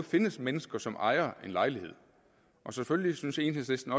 findes mennesker som ejer en lejlighed og selvfølgelig synes enhedslisten